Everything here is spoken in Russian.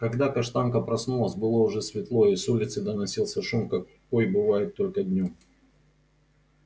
когда каштанка проснулась было уже светло и с улицы доносился шум какой бывает только днём